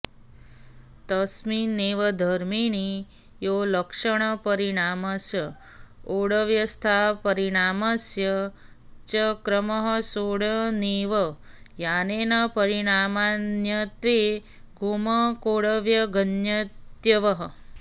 तस्मिन्नेव धर्मिणि यो लक्षणपरिणामस्याऽवस्थापरिणामस्य च क्रमः सोऽप्यनेनैव न्यायेन परिणामान्यत्वे गमकोऽवगन्तव्यः